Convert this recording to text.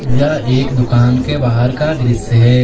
यह एक दुकान के बाहर का दृश्य है।